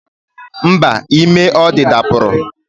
Mba, ime ọ dị dapụrụ